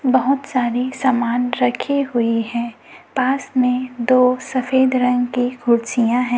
बहोत सारे समान रखे हुए हैं पास में दो सफेद रंग के कुर्सियां हैं।